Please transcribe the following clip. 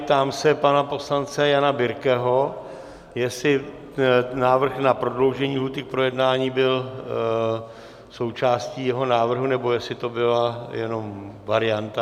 Ptám se pana poslance Jana Birkeho, jestli návrh na prodloužení lhůty k projednání byl součástí jeho návrhu, nebo jestli to byla jenom varianta.